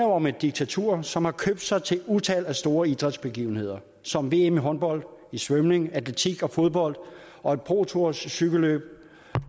om et diktatur som har købt sig til et utal af store idrætsbegivenheder som vm i håndbold i svømning atletik og fodbold og et pro tour cykelløb